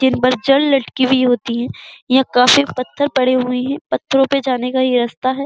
हुई होती है। यहां काफी पत्थर पड़े हुए हैं। पत्थरो पे जाने का यह रास्ता है।